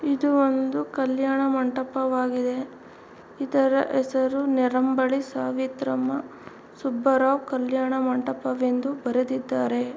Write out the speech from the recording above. ಇದು ಒಂದು ಕಲ್ಯಾಣ ಮಂಟಪವಾಗಿದೆ. ಇದರ ಹೆಸರು ನಿರಂಬಳಿ ಸಾವಿತ್ರಮ್ಮ ಸುಬ್ಬರಾವ್ ಕಲ್ಯಾಣ ಮಂಟಪವೆಂದು ಬರೆದಿದ್ದಾರೆ .